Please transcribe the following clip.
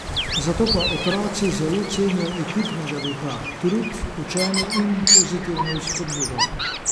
Zato pa otroci zelo cenijo ekipnega duha, trud, učenje in pozitivno spodbudo.